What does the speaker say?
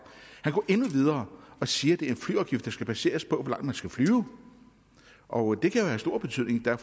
han går endnu videre og siger at det er en flyafgift der skal baseres på hvor langt man skal flyve og det kan jo have stor betydning der